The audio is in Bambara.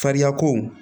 Fariyako